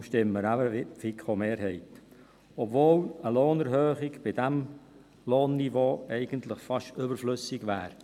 Deshalb stimmen wir eben wie die FiKo-Mehrheit, obwohl eine Lohnerhöhung bei diesem Lohnniveau eigentlich fast überflüssig wäre.